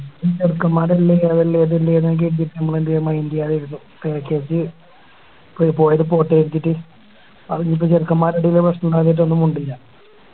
ചെക്കൻമ്മാരെല്ലാം ഇങ്ങനെ നമ്മളെ എന്തേയ Mind ചെയ്യാതെ ഇരുന്നു Package പോയത് പോട്ടെന്ന് വെച്ചിറ്റ് അതിനിപ്പോ ചെക്കൻമ്മാരെടിയ പ്രശ്നണ്ടേയെന്ന് വെച്ചിറ്റ് അന്ന് മിണ്ടില്ല